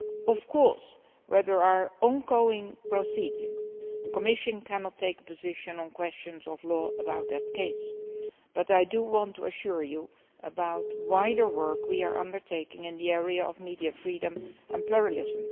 Of course, where there are ongoing proceedings, the Commission cannot take a position on questions of law in a particular case, but I do want to assure you about the wider work we are undertaking in the area of media freedom and pluralism.